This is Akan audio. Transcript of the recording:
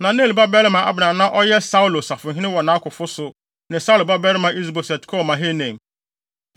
Na Ner babarima Abner a na ɔyɛ Saulo safohene wɔ nʼakofo so ne Saulo babarima Is-Boset kɔɔ Mahanaim.